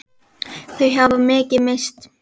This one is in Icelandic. Þau hafa mikið misst.